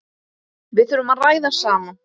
Við þurfum að ræða saman.